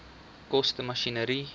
koste masjinerie